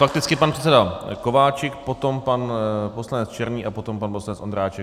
Fakticky pan předseda Kováčik, potom pan poslanec Černý a potom pan poslanec Ondráček.